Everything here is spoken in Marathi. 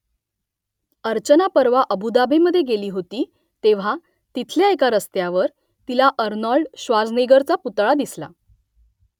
अर्चना परवा अबु धाबीमध्ये गेली होती तेव्हा तिथल्या एका रस्त्यावर तिला आर्नोल्ड श्वार्झनेगरचा पुतळा दिसला